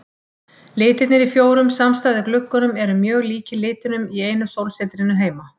Litirnir í fjórum samstæðu gluggunum eru mjög líkir litunum í einu sólsetrinu heima.